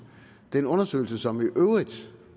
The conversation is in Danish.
den undersøgelse som jo i øvrigt